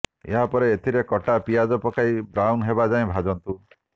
ଏହାପରେ ଏଥିରେ କଟା ପିଆଜ ପକାଇ ବ୍ରାଉନ୍ ହେବା ଯାଏ ଭାଜନ୍ତୁ